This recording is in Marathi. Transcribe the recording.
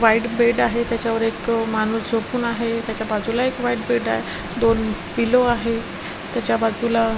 व्हाइट बेड आहे त्याचा वर एक माणुस झोपून आहे त्याचा बाजूला एक व्हाईट बेड आहे दोन पिलो आहे त्याचा बाजूला --